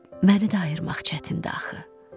məni də ayırmaq çətindir axı.